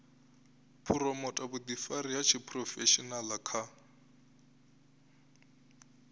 phuromotha vhuḓifari ha tshiphurofeshenaḽa kha